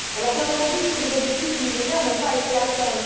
Bien entendu, tous les objectifs du Millénaire n'ont pas été atteints.